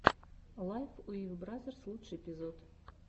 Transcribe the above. лайф уив бразерс лучший эпизод